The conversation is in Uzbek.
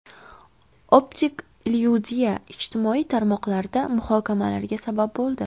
Optik illyuziya ijtimoiy tarmoqlarda muhokamalarga sabab bo‘ldi.